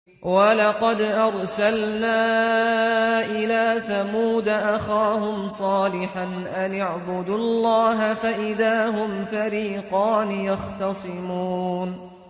وَلَقَدْ أَرْسَلْنَا إِلَىٰ ثَمُودَ أَخَاهُمْ صَالِحًا أَنِ اعْبُدُوا اللَّهَ فَإِذَا هُمْ فَرِيقَانِ يَخْتَصِمُونَ